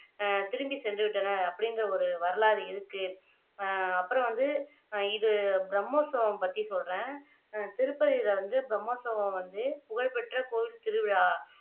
அஹ் திரும்பி சென்று விட்டனர் அப்படிங்கிற ஒரு வரலாறு இருக்கு அஹ் அப்புறம் வந்து இது பிரம்மோத்சவம் பற்றி சொல்றேன் திருப்பதில வந்து பிரம்மோத்சவம் வந்து புகழ்பெற்ற கோயில் திருவிழா